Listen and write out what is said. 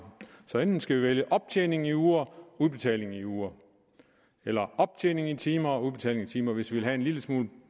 så enten skal vi vælge optjening i uger og udbetaling i uger eller optjening i timer og udbetaling i timer hvis vi vil have en lille smule